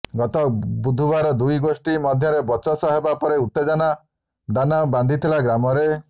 ଗତ ବୁଧବାର ଦୁଇ ଗୋଷ୍ଠୀ ମଧ୍ୟରେ ବଚସା ହେବା ପରେ ଉତ୍ତେଜନା ଦାନା ବାନ୍ଧିଥିଲା ଗ୍ରାମରେ